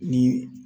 Ni